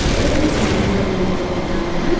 சுத்தி மரங்களெல்லாம் நட்டு விட்டு இருக்காங்க.